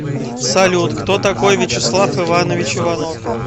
салют кто такой вячеслав иванович иванов